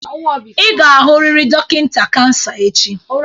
Ị ga-ahụrịrị dọkịta kansa echi!